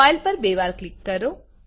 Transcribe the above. file પર બે વાર ક્લિક કરો